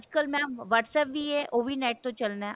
ਕੱਲ mam Whatsapp ਵੀ ਹੈ ਉਹ ਵੀ net ਤੋਂ ਚੱਲਣਾ